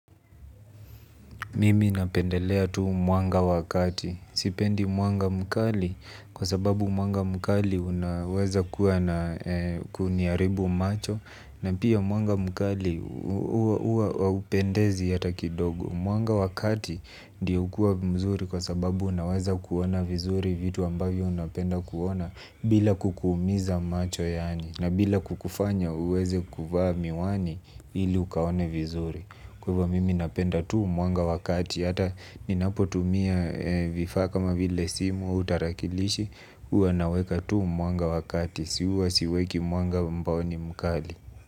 Mimi napendelea tu mwanga wa kati. Sipendi mwanga mkali kwa sababu mwanga mkali unaweza kuwa na kuniaribu macho na pia mwanga mkali huwa haupendezi hata kidogo. Mwanga wa kati ndio ukua mzuri kwa sababu unaweza kuona vizuri vitu ambavyo unapenda kuona bila kukuumiza macho yani na bila kukufanya uweze kuvaa miwani ili ukaone vizuri. Kwa hivo mimi napenda tu mwanga wa kati, ata ninapotumia vifaa kama vile simu, utarakilishi, huwa naweka tu mwanga wa kati, huwa siweki mwanga ambao ni mkali.